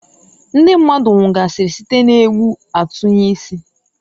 Ndi mmadu nwugasịrị site n' egbu-atunye-isi.